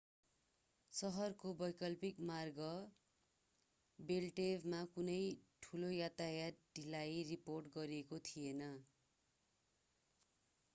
सहरको वैकल्पिक मार्ग बेल्टवेमा कुनै ठूलो यातायात ढिलाई रिपोर्ट गरिएको थिएन